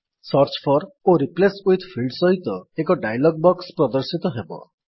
search for ଓ replace with field ସହିତ ଏକ ଡାୟଲଗ୍ ବକ୍ସ ପ୍ରଦର୍ଶିତ ହେବ